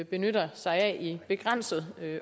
benytter sig af i begrænset